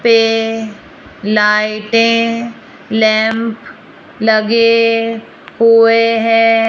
पे लाइटें लैंप लगे हुए हैं।